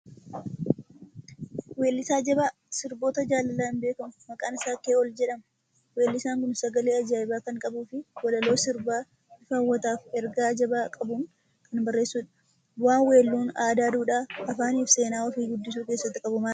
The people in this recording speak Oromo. Weellisaa jabaa sirboota jaalalaan beekamu, maqaan isaa Kee'ool jedhama. Weellisaan kun sagalee ajaa'ibaa kan qabuufi walaloo sirbaa bifa hawwataa fi ergaa jabaa qabuun kan barreessudha. Bu'aan weelluun aadaa, duudhaa, afaanii fi seenaa ofii guddisuu keessatti qabu maali?